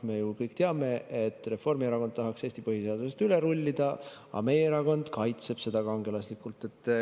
Me ju kõik teame, et Reformierakond tahaks Eesti põhiseadusest üle rullida, aga meie erakond kaitseb seda kangelaslikult.